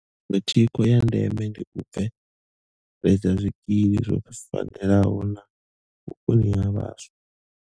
Iṅwe thikho ya ndeme ndi u bveledza zwikili zwo fanelaho na vhukoni ha vhaswa.